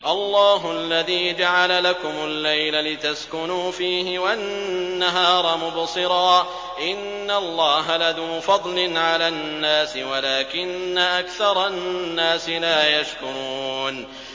اللَّهُ الَّذِي جَعَلَ لَكُمُ اللَّيْلَ لِتَسْكُنُوا فِيهِ وَالنَّهَارَ مُبْصِرًا ۚ إِنَّ اللَّهَ لَذُو فَضْلٍ عَلَى النَّاسِ وَلَٰكِنَّ أَكْثَرَ النَّاسِ لَا يَشْكُرُونَ